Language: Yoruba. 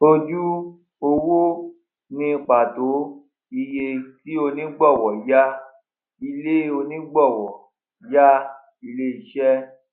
ojú owó ni pàtó iye tí onígbọwọ yá ilé onígbọwọ yá ilé iṣẹ